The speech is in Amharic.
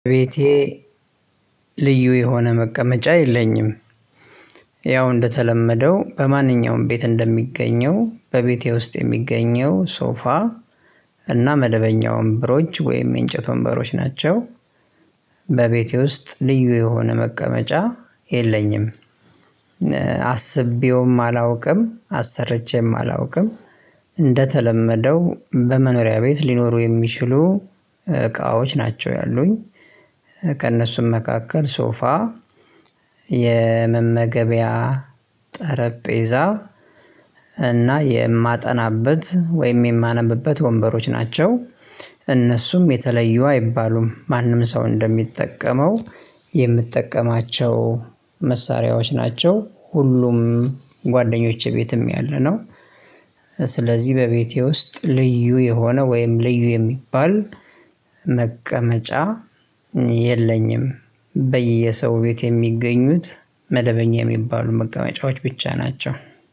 ቤቴ ልዩ የሆነ መቀመጫ የለኝም። ያው እንደተለመደው በማንኛውም ቤት እንደሚገኘው በቤቴ ውስጥ የሚገኘው ሶፋ እና መደበኛውን ወንበሮች ወይም የእንጨት ወንበሮች ናቸው። በቤቴ ውስጥ ልዩ የሆነ መቀመጫ የለኝም አስቤውም አላውቅም አሰርቼም አላውቅም። እንደተለመደው በመኖሪያ ቤት ሊኖሩ የሚችሉ እቃዎች ናቸው ያሉኝ። ከእነሱም መካከል ሶፋ የመመገቢያ ጠረጴዛ እና የማጠናበት ወይም የማነብበት ወንበሮች ናቸው። እነሱም የተለዩ አይባሉም ማንም ሰው እንደሚጠቀመው የምትጠቀማቸው መሳሪያዎች ናቸው ሁሉም ጓደኞቼ ቤትም ያለ ነው። ስለዚህ በቤቴ ውስጥ ልዩ የሆነ ወይም ልዩ የሚባል መቀመጫ የለኝም። በየሰው ቤት የሚገኙት መደበኛ የሚባሉ መቀመጫዎች ብቻ ናቸው።